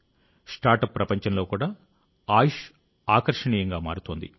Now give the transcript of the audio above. startup ప్రపంచంలో కూడా ఆయుష్ ఆకర్షణీయంగా మారుతోంది